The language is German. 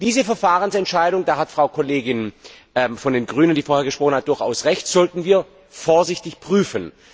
Diese Verfahrensentscheidung da hat die Kollegin von den Grünen, die vorhin gesprochen hat, durchaus Recht sollten wir vorsichtig prüfen.